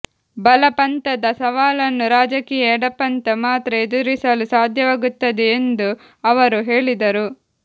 ಬಲಪಂಥದ ಸವಾಲನ್ನು ರಾಜಕೀಯ ಎಡಪಂಥ ಮಾತ್ರ ಎದುರಿಸಲು ಸಾಧ್ಯವಾಗುತ್ತದೆ ಎಂದು ಅವರು ಹೇಳಿದರು